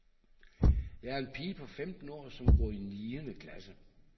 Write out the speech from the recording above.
Jeg er en pige på femten år, som går i niende klasse.